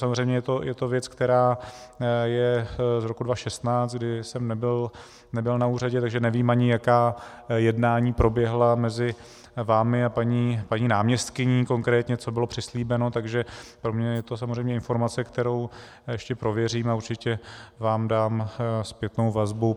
Samozřejmě je to věc, která je z roku 2016, kdy jsem nebyl na úřadě, takže nevím ani, jaká jednání proběhla mezi vámi a paní náměstkyní, konkrétně co bylo přislíbeno, takže pro mě je to samozřejmě informace, kterou ještě prověřím, a určitě vám dám zpětnou vazbu.